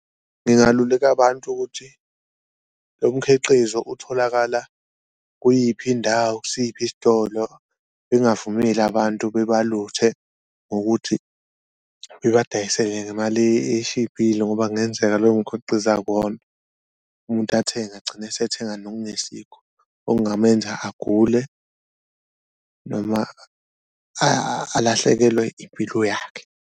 Ngingaluleka abantu ukuthi lo mkhiqizo utholakala kuyiphi indawo, kusiphi isitolo, ngingavumeli abantu bebaluthe ngokuthi bebadayisele ngemali eshibhile ngoba kungenzeka lowo mkhiqizo akuwona. Umuntu athenge agcina esethenga nokungesikho okungamenza agule noma alahlekelwe impilo yakhe.